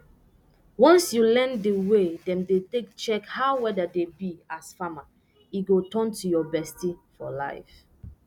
once you learn di way dem dey take check how weather dey be as farmer e go turn your bestie for liife